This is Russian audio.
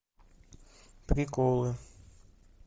приколы